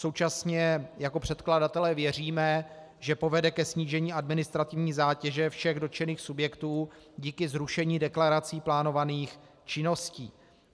Současně jako předkladatelé věříme, že povede ke snížení administrativní zátěže všech dotčených subjektů díky zrušení deklarací plánovaných činností.